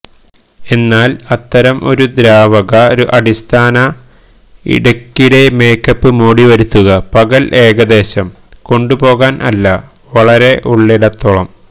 എന്നാൽ അത്തരം ഒരു ദ്രാവക അടിസ്ഥാന ഇടയ്ക്കിടെ മേക്കപ്പ് മോടിവരുത്തുക പകൽ ഏകദേശം കൊണ്ടുപോകാൻ അല്ല വളരെ ഉള്ളിടത്തോളം